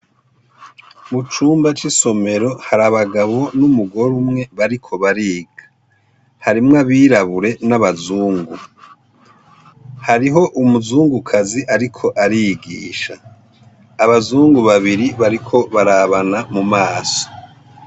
Mu cumba c'isomero hari abagabo n'umugore umwe bariko bariga harimwo abirabure n'abazungu hariho umuzungukazi, ariko arigisha abazungu babiri bariko barabana mu maso.